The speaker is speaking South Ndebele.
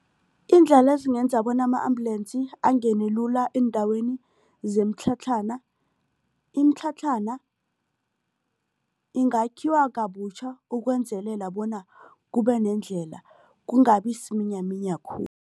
Iindlela ezingenza bona ama-ambulance angene lula eendaweni zemitlhatlhana. Imitlhatlhana ingakhiwa kabutjha ukwenzelela bona kube nendlela kungabi siminyaminya